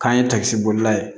K'an ye takisibolila ye